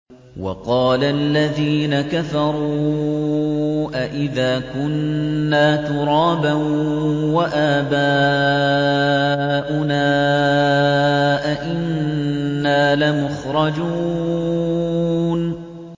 وَقَالَ الَّذِينَ كَفَرُوا أَإِذَا كُنَّا تُرَابًا وَآبَاؤُنَا أَئِنَّا لَمُخْرَجُونَ